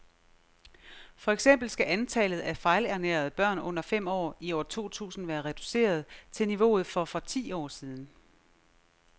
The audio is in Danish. For eksempel skal antallet af fejlernærede børn under fem år i år to tusind være reduceret til niveauet for for ti år siden.